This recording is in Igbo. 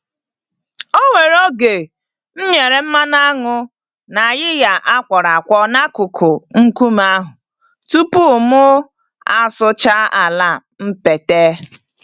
Onwere oge m nyere mmanụ aṅụ na ayịya a kwọrọ-akwọ n'akụkụ nkume ahụ tupu mụ asụchaa ala mpete.